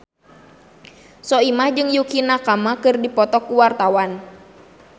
Soimah jeung Yukie Nakama keur dipoto ku wartawan